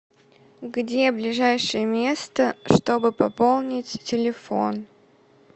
где ближайшее место чтобы пополнить телефон